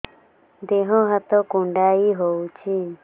ଦେହ ହାତ କୁଣ୍ଡାଇ ହଉଛି